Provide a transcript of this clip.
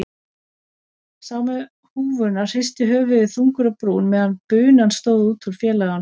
Sá með húfuna hristi höfuðið þungur á brún meðan bunan stóð út úr félaganum.